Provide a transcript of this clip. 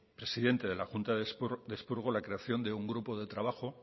presidente de la junta de expurgo la creación de un grupo de trabajo